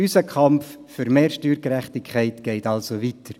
Unser Kampf für mehr Steuergerechtigkeit geht also weiter.